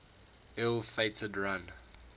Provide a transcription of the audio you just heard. ill fated run